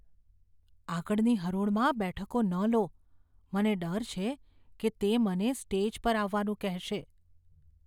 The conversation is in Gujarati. આગળની હરોળમાં બેઠકો ન લો. મને ડર છે કે તે મને સ્ટેજ પર આવવાનું કહેશે.